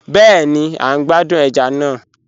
Bẹẹni, à n gbàdún ẹ̀já náà.